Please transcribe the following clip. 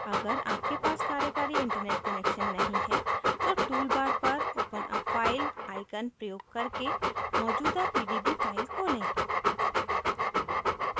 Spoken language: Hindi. अगर आपके पास कार्यकारी internet connection नहीं है तो tool bar पर open a file icon प्रयोग करके मौजूदा pdb file खोलें